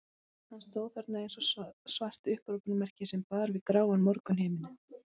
Hann stóð þarna eins og svart upphrópunarmerki sem bar við gráan morgunhimininn.